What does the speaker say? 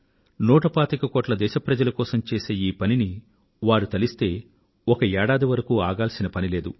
నూట పాతిక కోట్ల మంది దేశ ప్రజల కోసం చేసే ఈ పనిని వారు తలిస్తే ఒక సంవత్సరం వరకు ఆగాల్సిన పని లేదు